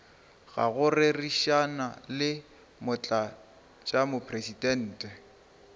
ga go rerišana le motlatšamopresidente